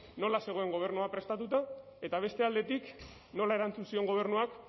nola zegoen gobernua prestatuta eta beste aldetik nola erantzun zion gobernuak